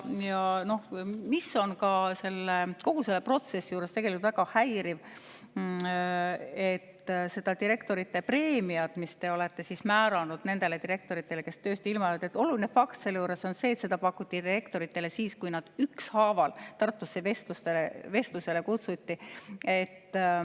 Ja kogu selle protsessi juures on väga häiriv, et direktorite preemiat, mis te olete määranud nendele direktoritele, kes tööst ilma jäävad – see on oluline fakt –, pakuti direktoritele siis, kui nad ükshaaval Tartusse vestlusele kutsuti.